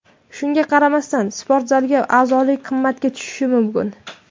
Shunga qaramasdan, sportzalga a’zolik qimmatga tushishi mumkin.